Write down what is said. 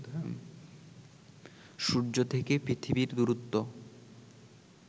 সূর্য থেকে পৃথিবীর দূরত্ব